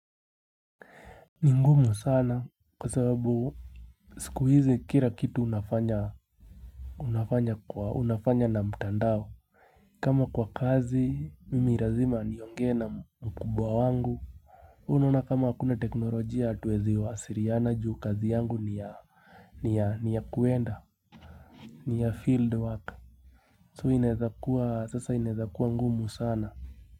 Ni ngumu sana kwa sababu siku hizi kira kitu unafanya unafanya kwa unafanya na mtandao kama kwa kazi mimi lazima niongee na mkubwa wangu unaona kama akuna teknolojia atuwezi wasiriana juu kazi yangu ni ya hh ni ya ni ya kuenda hhh ni ya field work so inaezakua sasa inaezakua ngumu sana.